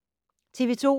TV 2